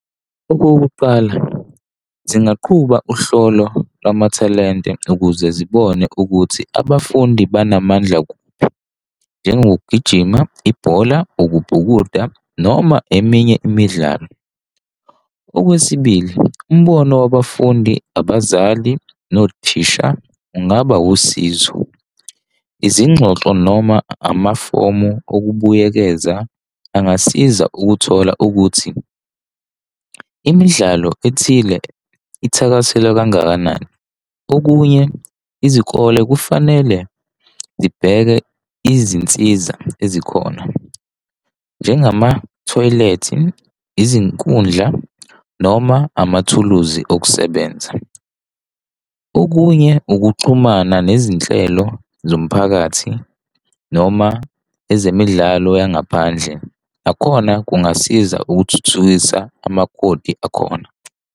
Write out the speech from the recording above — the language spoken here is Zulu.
Okokuqala zingaqhubeka uhlolo lamathalente ukuze zibone ukuthi abafundi banamandla kuphi, njengokugijima, ibhola, ukubhukuda noma eminye imidlalo. Okwesibili, umbono wabafundi abazali nothisha. Ungaba usizo, izingxoxo noma amafomu okubuyekeza angasiza ukuthola ukuthi imidlalo ethile ithakaselwa kangakanani? Okunye, izikole kufanele zibheke izinsiza ezikhona, njengamathoyilethi, izinkundla noma amathuluzi okusebenza. Okunye, ukuxhumana nezinhlelo zomphakathi noma ezemidlalo yangaphandle, nakhona kungasiza ukuthuthukisa umagoli akhona.